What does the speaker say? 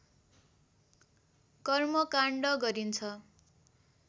कर्मकाण्ड गरिन्छ